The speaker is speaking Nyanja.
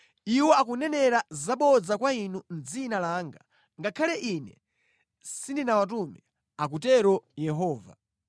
Iwo akunenera zabodza kwa inu mʼdzina langa ngakhale Ine sindinawatume,” akutero Yehova.